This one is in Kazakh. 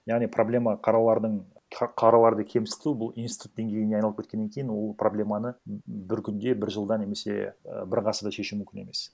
яғни проблема қаралардың қараларды кемсіту бұл институт деңгейіне айналып кеткеннен кейін ол проблеманы бір күнде бір жылда немесе і бір ғасырда шешу мүмкін емес